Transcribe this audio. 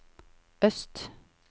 øst